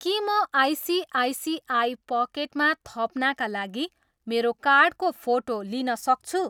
के म आइसिआइसिआई पकेटमा थप्नाका लागि मेरो कार्डको फोटो लिन सक्छु?